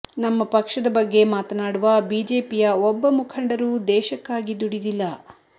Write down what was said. ನಮ್ಮ ಪಕ್ಷದ ಬಗ್ಗೆ ಮಾತನಾಡುವ ಬಿಜೆಪಿಯ ಒಬ್ಬ ಮುಖಂಡರೂ ದೇಶಕ್ಕಾಗಿ ದುಡಿದಿಲ್ಲ